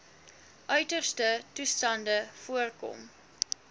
uiterste toestande voorkom